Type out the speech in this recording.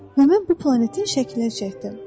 Və mən bu planetin şəklini çəkdim.